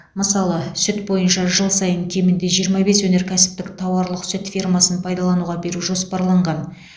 мысалы сүт бойынша жыл сайын кемінде жиырма бес өнеркәсіптік тауарлық сүт фермасын пайдалануға беру жоспарланған